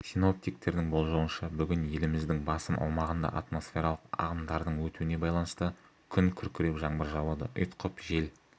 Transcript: синоптиктердің болжауынша бүгін еліміздің басым аумағында атмосфералық ағымдардың өтуіне байланысты күн күркіреп жаңбыр жауады ұйытқып жел